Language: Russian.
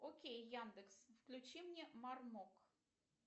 окей яндекс включи мне мармок